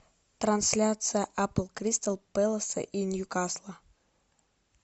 трансляция апл кристал пэласа и ньюкасла